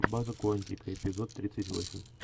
база куантико эпизод тридцать восемь